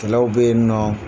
Kɛlɛw bɛ ye nɔ.